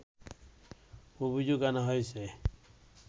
অভিযোগ আনা হয়েছে